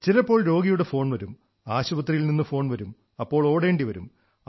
ചിലപ്പോൾ രോഗിയുടെ ഫോൺ വരും ആശുപത്രിയിൽ നിന്ന് ഫോൺ വരും അപ്പോൾ ഓടേണ്ടിവരും